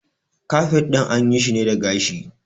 Kafet ɗin an yi shi ne da gashi